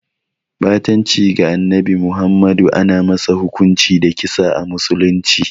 Ɓatanci ga Annabi Muhammadu ana masa hukunci da kisa a musulunci.